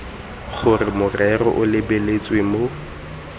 gore morero o lebelelwe mo